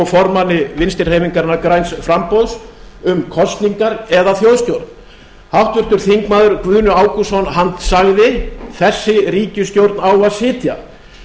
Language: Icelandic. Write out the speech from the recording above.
formanni vinstri hreyfingarinnar græns framboðs um kosningar eða þjóðstjórn háttvirtur þingmaður guðni ágústsson sagði þessi ríkisstjórn á að sitja